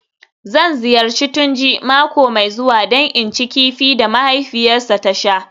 Zan ziyarci Tunji mako mai zuwa don in ci kifi da mahaifiyarsa ta sha